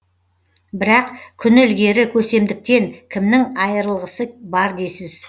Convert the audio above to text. бірақ күні ілгері көсемдіктен кімнің айырылығысы бар дейсіз